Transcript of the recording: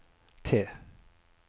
T